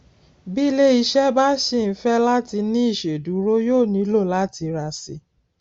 bí iléiṣẹ bá ṣì ń fẹ láti ní ìṣèdúró yóò nílò láti rà síi